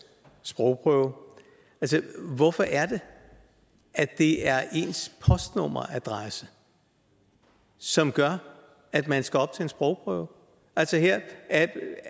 sprogprøve hvorfor er det at det er ens postnummeradresse som gør at man skal op til en sprogprøve